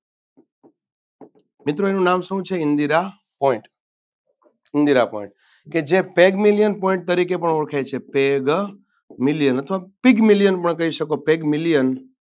મિત્રો એનું નામ શું છે ઇન્દિરા Point ઇન્દિરા Point કે જે પેગમિલિયણ Point તરીકે પણ ઓળખેછે પેગમિલિયણ અથવા પિગમિલિયણ પણ કહી શકો પિગમિલિયણ